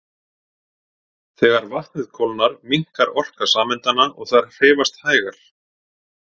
Þegar vatnið kólnar minnkar orka sameindanna og þær hreyfast hægar.